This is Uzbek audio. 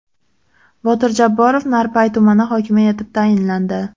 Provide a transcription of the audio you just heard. Botir Jabborov Narpay tumani hokimi etib tayinlandi.